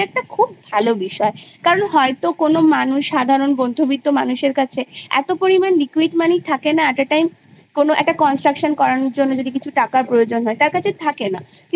যেটা একটা খুব ভালো বিষয় কারণ কোন সাধারন মধ্যবিত্ত মানুষের কাছে এত পরিমান liquid Money থাকে না একটা construction করানোর জন্য যে টাকা লাগে তা থাকে না